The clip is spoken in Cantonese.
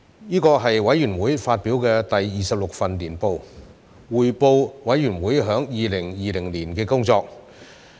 這是委員會發表的第二十六份年報，匯報委員會在2020年的工作。